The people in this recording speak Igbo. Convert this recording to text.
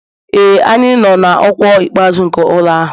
Ee, anyị nọ na ọkwa ikpeazụ nke ụlọ ahụ